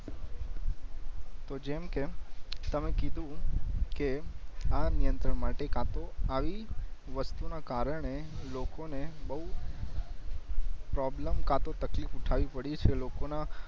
તો જેમ કે તમે કીધું કે આ નિયંત્રણ માટે કતો આવી વસ્તુ ના કારણ એ લોકો ને બવ પ્રોબ્લેમ કાતો તકલીફ ઉઠાવી પડી છે લોકો ના